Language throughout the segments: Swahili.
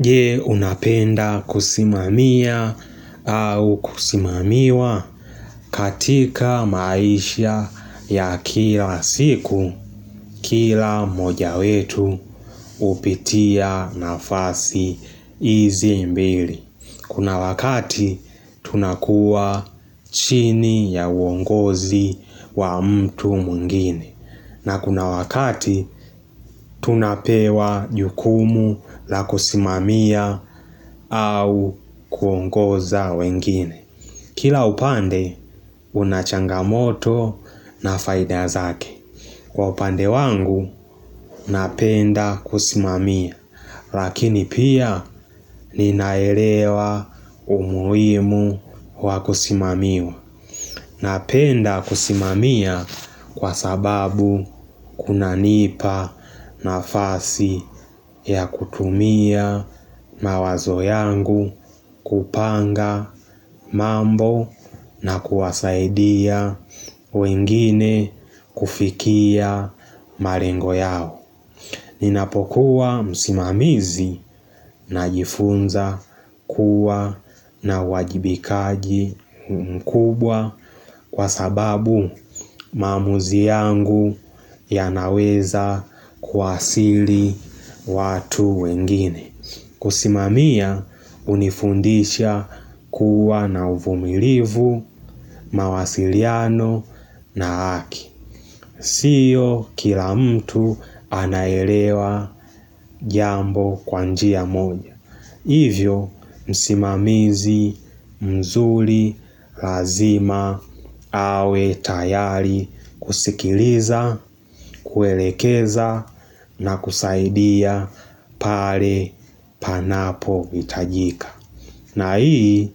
Je unapenda kusimamiya au kusimamiwa katika maisha ya kila siku kila moja wetu upitia nafasi izi mbili. Kuna wakati tunakuwa chini ya uongozi wa mtu mwingine na kuna wakati tunapewa jukumu la kusimamia au kuongoza wengine Kila upande unachangamoto na faida zake Kwa upande wangu napenda kusimamia Lakini pia ninaelewa umuhimu wakusimamiwa Napenda kusimamiya kwa sababu kunanipa nafasi ya kutumia mawazo yangu kupanga mambo na kuwasaidia wengine kufikia marengo yao Ninapokuwa msimamizi najifunza kuwa na wajibikaji mkubwa kwa sababu maamuzi yangu yanaweza kuwasili watu wengine. Kusimamia unifundisha kuwa na uvumilivu, mawasiliano na haki. Sio kila mtu anaelewa jambo kwa njia moja. Hivyo msimamizi mzuri lazima awe tayari kusikiliza, kuelekeza na kusaidia pale panapo hitajika. Na hii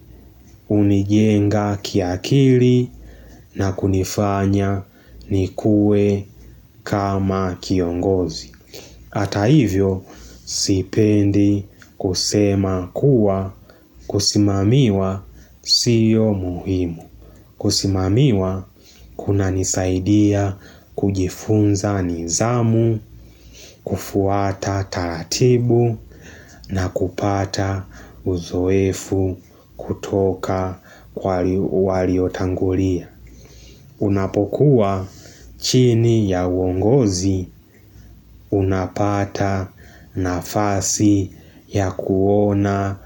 unijenga kiakili na kunifanya nikue kama kiongozi. Hata hivyo sipendi kusema kuwa kusimamiwa siyo muhimu. Kusimamiwa kuna nisaidia kujifunza nidhaamu, kufuata talatibu na kupata uzoefu utoka kwa waliotangolia. Unapokuwa chini ya uongozi unapata nafasi ya kuona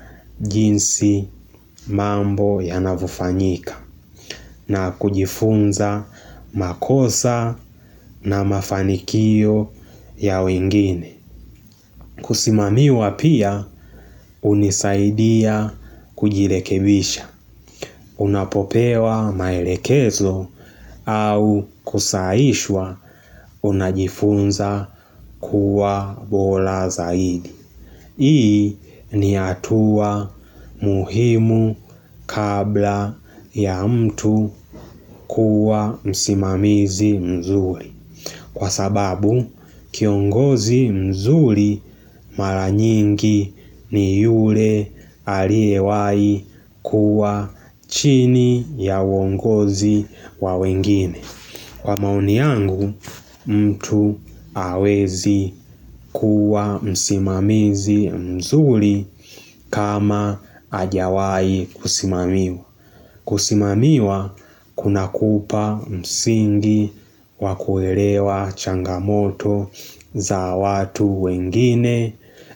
jinsi mambo ya navufanyika na kujifunza makosa na mafanikio ya wengine. Kusimamiwa pia unisaidia kujilekebisha. Unapopewa maelekezo au kusaiswa unajifunza kuwa bora zaidi. Hii ni hatua muhimu kabla ya mtu kuwa msimamizi mzuri. Kwa sababu, kiongozi mzuri maranyingi ni yule aliewai kuwa chini ya uongozi wawengine. Kwa mauni yangu, mtu hawezi kuwa msimamizi mzuri kama hajawai kusimamiwa. Kusimamiwa, kuna kupa msingi wakuerewa changamoto za watu wengine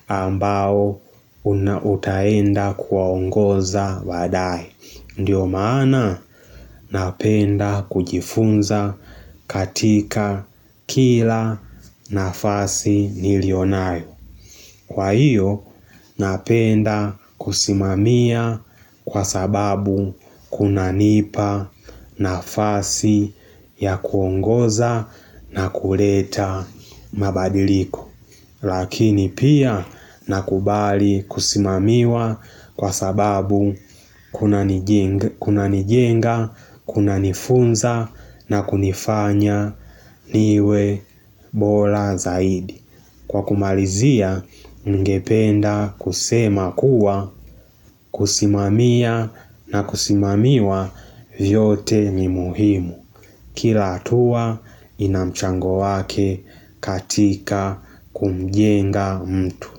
ambao unautaenda kuwaongoza baadaye. Ndiyo maana napenda kujifunza katika kila nafasi nilionayo Kwa hiyo napenda kusimamia kwa sababu kunanipa nafasi ya kuongoza na kuleta mabadiliko Lakini pia nakubali kusimamiwa kwa sababu kunanijenga, kunanifunza na kunifanya niwe bora zaidi. Kwa kumalizia, ngependa kusema kuwa, kusimamia na kusimamiwa vyote ni muhimu. Kila hatua, inamchango wake katika kumjenga mtu.